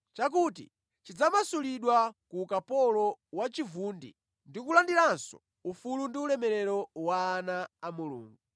chakuti chidzamasulidwa ku ukapolo wa chivundi ndi kulandiranso ufulu ndi ulemerero wa ana a Mulungu.